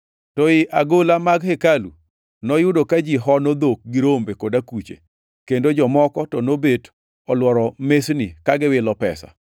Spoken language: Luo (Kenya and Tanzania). To ei agola mag hekalu, noyudo ka ji hono dhok gi rombe kod akuche, kendo jomoko to nobet olworo mesni ka giwilo pesa.